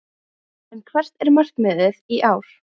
En hvert er markmiðið í ár?